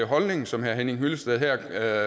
holdning som herre henning hyllested her